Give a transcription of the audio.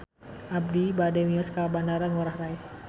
Abi bade mios ka Bandara Ngurai Rai